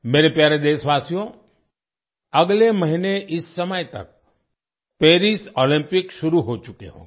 मेरे प्यारे देशवासियो अगले महीने इस समय तक पेरिस ओलंपिक शुरू हो चुके होंगे